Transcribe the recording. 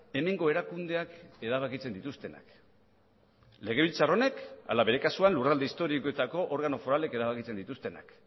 hemengo erakundeak erabakitzen dituztenak legebiltzar honek ala bere kasuan lurralde historikoetako organo foralek erabakitzen dituztenak